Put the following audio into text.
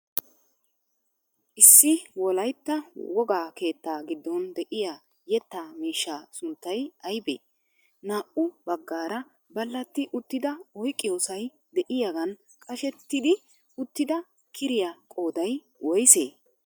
Issi wolaytta wogaa keettaa giddon de'iya yetta miishshaa sunttay aybee? Naa"u bagaara balatti uttida oyqqiyossay de'iyagan qashettidi uttida kiriya qooday woysee?